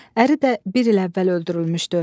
Əri də bir il əvvəl öldürülmüşdü.